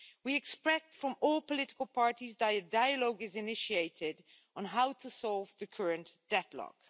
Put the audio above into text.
We expect from all political parties that dialogue is initiated on how to solve the current deadlock.